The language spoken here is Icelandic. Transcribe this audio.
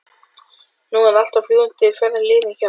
Nú allt er á fljúgandi ferð liðið hjá